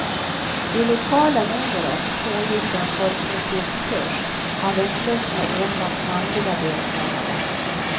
I lokalen under oss pågick en folkmusikkurs, av en slump med enbart manliga deltagare.